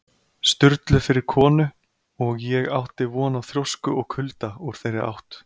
Sturlu fyrir konu, og ég átti von á þrjósku og kulda úr þeirri átt.